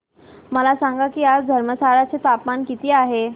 मला सांगा की आज धर्मशाला चे तापमान किती आहे